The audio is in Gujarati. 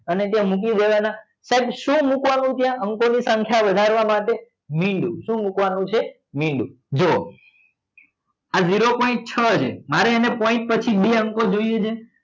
અને ત્યાં મૂકી દેવાના સાહેબ શું મુકવા નું ત્યાં અંકો ની સંખ્યા વધારવા માટે મીંડું શું મુકવા નું છે મીંડું જુઓ આ zero point છ છે મારે એને point પછી બે અંકો જોઈએ છે